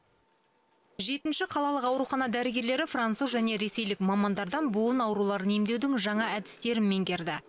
жетінші қалалық аурухана дәрігерлері француз және ресейлік мамандардан буын ауруларын емдеудің жаңа әдістерін меңгерді